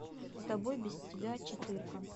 с тобой без тебя четырка